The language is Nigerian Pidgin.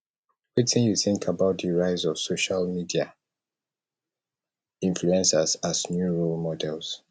wetin you think about di rise of social media influcers as new role models